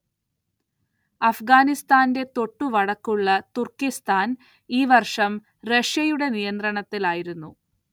അഫ്ഗാനിസ്താന്റെ തൊട്ടുവടക്കുള്ള തുർക്കിസ്താൻ ഈ വർഷം റഷ്യയുടെ നിയന്ത്രണത്തിലായിരുന്നു.